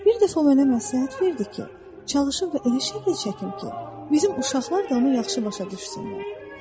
Bir dəfə o mənə məsləhət verdi ki, çalışım və elə şəkil çəkim ki, bizim uşaqlar da onu yaxşı başa düşsünlər.